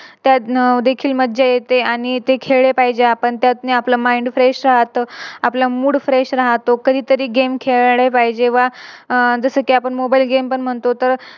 तर देखील मज्जा येते आणि ते खेळले पाहिजे आपण तर आपलं Mind fresh राहत. आपला Mood fresh राहतो. कधीतरी Game खेळले पाहिजे व अह जसं कि आपण Mobile game पण म्हणतो